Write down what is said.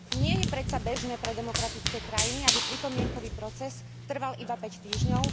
Nie je predsa bežné pre demokratické krajiny, aby pripomienkový proces trval iba 5 týždňov.